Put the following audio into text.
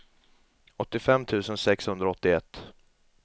åttiofem tusen sexhundraåttioett